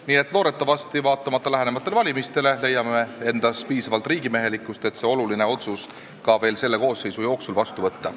" Nii et loodetavasti – vaatamata lähenevatele valimistele – leiame endas piisavalt riigimehelikkust, et see oluline otsus veel selle koosseisu jooksul vastu võtta.